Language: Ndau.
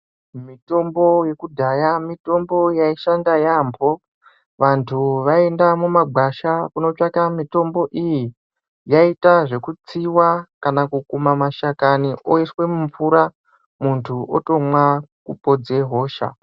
Mitombo yekudhaya mitombo yaishanda yaamho vantu vaienda mumagwasha kunotsvaka mitombo iyi, yaiita zvekutsiwa kana kukuma mashakani oiswe mumvura muntu otomwa kupodze hosha .